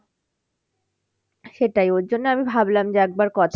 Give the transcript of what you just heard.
সেটাই ওর জন্য আমি ভাবলাম যে একবার কথা